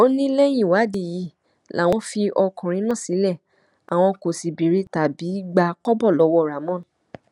ó ní lẹyìn ìwádìí yìí làwọn fi ọkùnrin náà sílé àwọn kó sì béèrè tàbí gba kọbọ lọwọ ramón